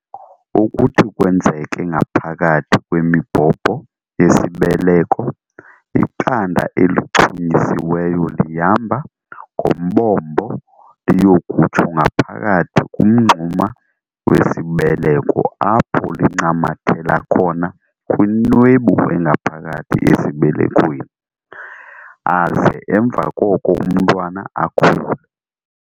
- okuthi kwenzeke ngaphakathi kwemibhobho yesibeleko, iqanda elichunyisiweyo lihamba ngombombo liyokutsho ngaphakathi kumngxuma wesibeleko apho lincamathela khona kwinwebu engaphakathi esibelekweni, aze emva koko umntwana akhule.